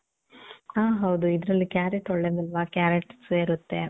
ಹಾ, ಹೌದು. ಇದ್ರಲ್ಲಿ ಕ್ಯಾರಟ್ ಒಳ್ಳೇದಲ್ವ? ಕ್ಯಾರಟ್ ಸೇರತ್ತೆ.